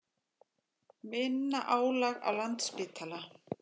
Minna álag á Landspítala